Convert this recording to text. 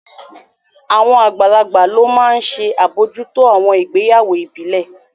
Àwọn àgbààgbà ló máa n ṣe àbojútó àwọn ìgbéyàwó ìbílẹ̀